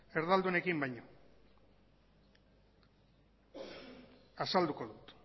erdaldunekin baino azalduko dut